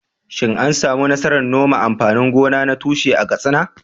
Shin an samu nasarar noman amfanin gona na tushe a Katsina?